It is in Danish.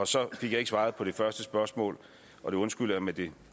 så fik jeg ikke svaret på det første spørgsmål og det undskylder jeg men det